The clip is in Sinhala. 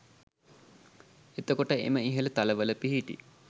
එතකොට, එම ඉහළ තලවල පිහිටි